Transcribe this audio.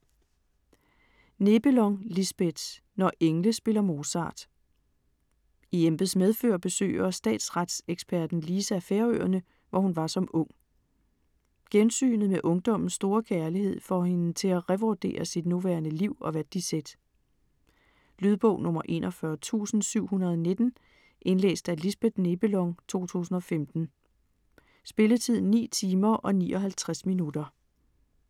Nebelong, Lisbeth: Når engle spiller Mozart I embeds medfør besøger statsretseksperten Lisa Færøerne, hvor hun var som ung. Gensynet med ungdommens store kærlighed får hende til at revurdere sit nuværende liv og værdisæt. Lydbog 41719 Indlæst af Lisbeth Nebelong, 2015. Spilletid: 9 timer, 59 minutter.